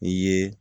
I ye